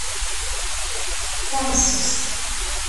тарсус